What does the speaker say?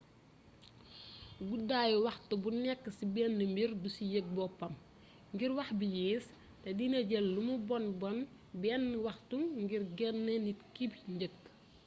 guddaayu waxtu bu nékk ci bénn mbir du ci yég boppam ngir wax bi yéés té dina jël lumu bonn bénn waxtu ngir genné nit ki njëkk